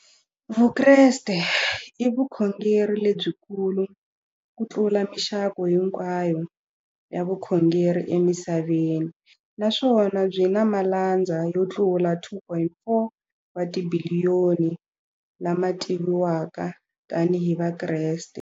Vukreste i vukhongeri lebyi kulu kutlula mixaka hinkwayo ya vukhongeri emisaveni, naswona byi na malandza yo tlula 2.4 wa tibiliyoni, la ma tiviwaka tani hi Vakreste.